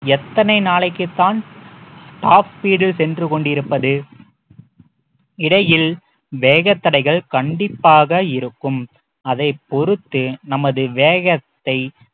எத்தனை நாளைக்குத்தான் top speed ல் சென்று கொண்டிருப்பது இடையில் வேகத்தடைகள் கண்டிப்பாக இருக்கும் அதை பொறுத்து நமது வேகத்தை